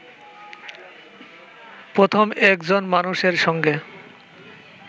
প্রথম একজন মানুষের সঙ্গে